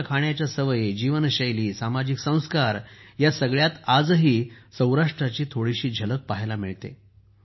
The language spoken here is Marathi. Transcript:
त्यांच्या खाण्याच्या सवयी जीवनशैली सामाजिक संस्कार ह्या सगळ्यांत आजही सौराष्ट्राची थोडीशी झलक पाहायला मिळते